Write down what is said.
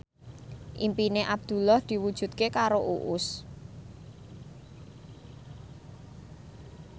impine Abdullah diwujudke karo Uus